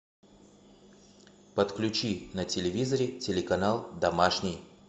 подключи на телевизоре телеканал домашний